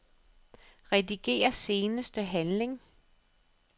Rediger seneste handling.